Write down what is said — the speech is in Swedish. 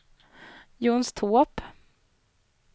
Jonstorp